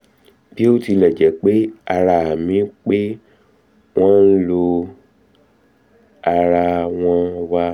bí ó tilẹ jẹ́ pé àmì pé wọ́n ń lọ ara wọ́n wà